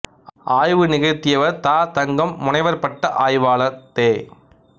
ஆய்வு நிகழ்த்தியவர் த தங்கம் முனைவர் பட்ட ஆய்வாளர் தெ